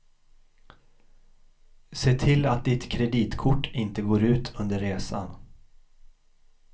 Se till att ditt kreditkort inte går ut under resan.